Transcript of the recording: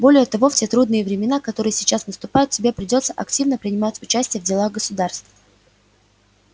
более того в те трудные времена которые сейчас наступают тебе придётся активно принимать участие в делах государств